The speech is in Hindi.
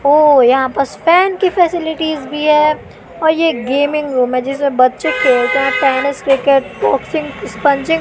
ओ यहाँ बस फॅन की फॅसिलिटीज भीं है और ये गेमिंग रूम हैं जिसमें बच्चे खेलते हैं टेनिस क्रिकेट बॉक्सिंग इस्पंजिंग ।